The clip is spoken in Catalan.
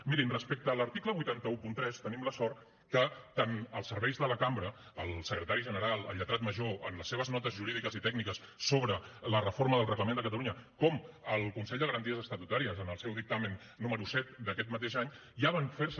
mirin respecte a l’article vuit cents i tretze tenim la sort que tant els serveis de la cambra el secretari general el lletrat major en les seves notes jurídiques i tècniques sobre la reforma del reglament de catalunya com el consell de garanties estatutàries en el seu dictamen número set d’aquest mateix any ja van fer se